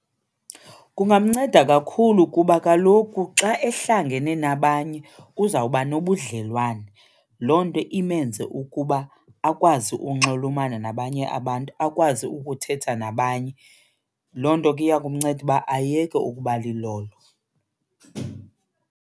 Kungamnceda kakhulu kuba kaloku xa ehlangene nabanye uzawuba nobudlelwane, loo nto imenze ukuba akwazi unxulumana nabanye abantu, akwazi ukuthetha nabanye. Loo nto ke iya kumnceda uba ayeke ukuba lilolo.